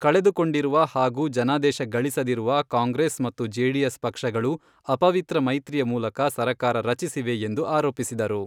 ಕಳೆದುಕೊಂಡಿರುವ ಹಾಗೂ ಜನಾದೇಶ ಗಳಿಸದಿರುವ ಕಾಂಗ್ರೆಸ್ ಮತ್ತು ಜೆಡಿಎಸ್ ಪಕ್ಷಗಳು ಅಪವಿತ್ರ ಮೈತ್ರಿಯ ಮೂಲಕ ಸರಕಾರ ರಚಿಸಿವೆ ಎಂದು ಆರೋಪಿಸಿದರು.